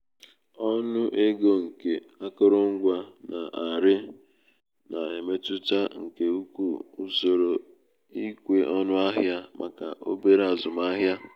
ọnụ ego nke akụrụngwa na-arị na-emetụta nke ukwuu usoro ikwe ọnụ ahịa maka obere azụmahịa